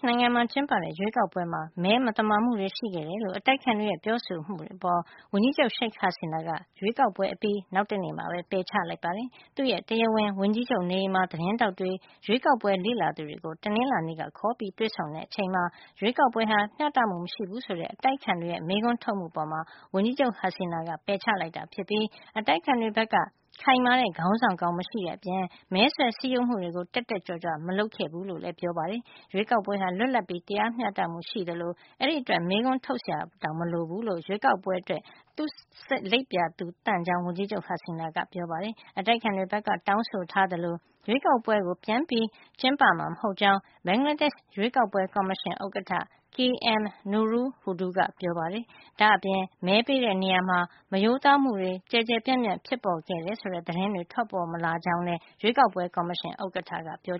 နိုင်ငံမှာ ကျင်းပခဲ့တဲ့ ရွေးကောက်ပွဲမှာ မဲမသမာမှုတွေ ရှိခဲ့တယ်လို့ အတိုက်အခံတွေရဲ့ ပြောဆိုမှုအပေါ် ဝန်ကြီးချုပ် Sheikh Hasina က ရွေးကောက်ပွဲအပြီး နောက်တနေ့မှာ ပယ်ချလိုက်ပါတယ်။ သူရဲ့ တရားဝင် ဝန်ကြီးချုပ်နေအိမ်မှာ သတင်းထောက်တွေ၊ ရွေးကောက်ပွဲ လေ့လာ သူတွေကို တနင်္လာနေ့က ခေါ်ယူ တွေ့ဆုံတာမှာ - ရွေးကောက်ပွဲဟာ မျှတမှု မရှိဘူးဆိုတဲ့ အတိုက်အခံတွေ မေးခွန်း ထုတ်မှုအပေါ် ဝန်ကြီးချုပ် Hasina က ပယ်ချလိုက်ပြီး အတိုက်အခံတွေ ဘက်က ခိုင်မာတဲ့ ခေါင်းဆောင်ကောင်း မရှိတဲ့အပြင် မဲဆွယ် စည်းရုံးမှုတွေကို တက်တက်ကြွကြွ မလုပ်ခဲ့ကြဘူးလို့ ပြောပါတယ်။ ရွေးကောက်ပွဲဟာ လွတ်လပ်ပြီး တရားမျှတမှု ရှိကြောင်း၊ အဲဒီအတွက် မေးခွန်း ထုတ်စရာတောင် မလိုကြောင်း၊ ရွေးကောက်ပွဲအတွက် သူ့စိတ်ကို လိပ်ပြာသန့်ကြောင်း ဝန်ကြီးချုပ် Hasina က ပြောပါတယ်။ အတိုက်အခံတွေဘက်က တောင်းဆိုထားသလို ရွေးကောက်ပွဲကို ပြန်ကျင်းပမှာ မဟုတ်ကြောင်း ဘင်္ဂလားဒေ့ရှ် ရွေးကောက်ပွဲ ကော်မရှင် ဥက္ကဋ္ဌ K.M. Nurul Huda ကလည်း ပြောပါတယ်။ ဒါ့အပြင် မဲပေးတဲ့နေရာမှာ မရိုးသားမှုတွေ ကျယ်ကျယ်ပြန့်ပြန့် ဖြစ်ပေါ်ခဲ့တယ်ဆိုတဲ့ သတင်းတွေလည်း ထွက်ပေါ်မလာကြောင်း ရွေးကောက်ပွဲ ကော်မရှင် ဥက္ကဋ္ဌက ပြော